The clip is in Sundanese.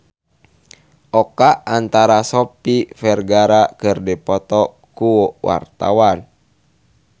Oka Antara jeung Sofia Vergara keur dipoto ku wartawan